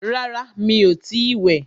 Rárá, mí o ti ì wẹ̀.